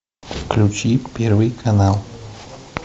включи первый канал